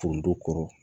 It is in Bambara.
Tonso kɔrɔ